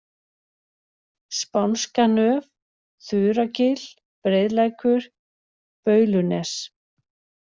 Spánska nöf, Þuragil, Breiðlækur, Baulunes